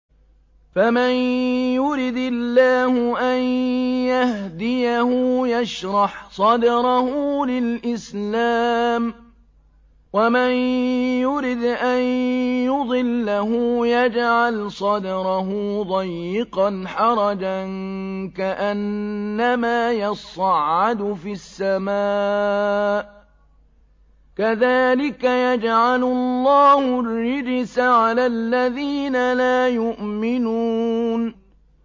فَمَن يُرِدِ اللَّهُ أَن يَهْدِيَهُ يَشْرَحْ صَدْرَهُ لِلْإِسْلَامِ ۖ وَمَن يُرِدْ أَن يُضِلَّهُ يَجْعَلْ صَدْرَهُ ضَيِّقًا حَرَجًا كَأَنَّمَا يَصَّعَّدُ فِي السَّمَاءِ ۚ كَذَٰلِكَ يَجْعَلُ اللَّهُ الرِّجْسَ عَلَى الَّذِينَ لَا يُؤْمِنُونَ